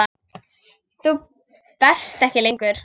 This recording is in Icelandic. Þú berst ekki lengur.